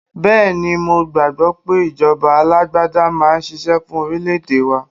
Bẹ́ẹ̀ ni, mo gbàgbọ́ pé ìjọba alágbádá máa ṣiṣẹ́ fún orílè-èdè wa.